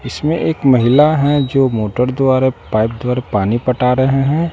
इसमें एक महिला है जो मोटर द्वारा पाइप द्वारा पानी पटा रहे हैं।